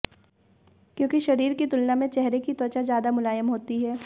क्योंकि शरीर की तुलना में चेहरे की त्वचा ज्यादा मुलायम होती है